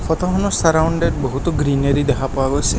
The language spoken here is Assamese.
ফটোখনত চাৰাউণ্ডেত বহুতো গ্ৰিনেৰী দেখা পোৱা গৈছে।